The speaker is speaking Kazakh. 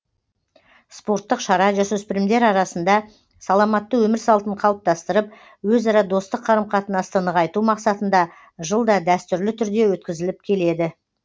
спорттық шара жасөспірімдер арасында саламатты өмір салтын қалыптастырып өзара достық қарым қатынасты нығайту мақсатында жылда дәстүрлі түрде өткізіліп келеді